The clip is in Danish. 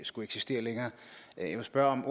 skulle eksistere længere jeg må spørge om